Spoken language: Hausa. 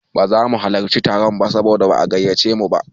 Ba za mu halarci taron ba saboda ba'a gayyace mu ba.